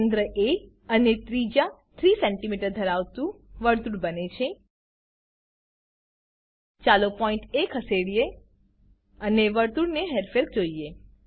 કેન્દ્ર એ અને ત્રિજ્યા 3સીએમ ધરાવતું વર્તુળ બને છે ચાલો પોઈન્ટ એ ખસેડીએ અને વર્તુળની હેરફેર જોઈએ